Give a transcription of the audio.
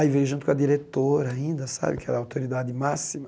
Aí veio junto com a diretora ainda, sabe, que era a autoridade máxima.